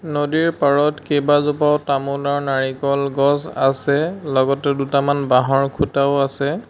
নদীৰ পাৰত কেবাজোপাও তামোল আৰু নাৰিকল গছ আছে লগতে দুটামান বাঁহৰ খুঁটাও আছে।